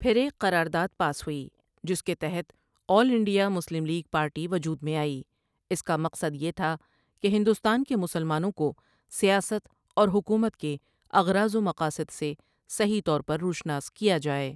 پھر ایک قرارداد پاس ہوٸی جس کے تحت all India Muslim League party وجود میں آٸی اس کا مقصد یہ تھا کہ ہندوستان کے مسلمانوں کوسیاست اور حکومت کے اغراض و مقاصدسے صحیح طور پر روشناس کیا جائے ۔